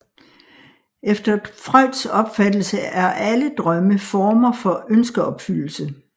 Efter Freuds opfattelse er alle drømme former for ønskeopfyldelse